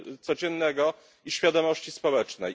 codziennego i świadomości społecznej.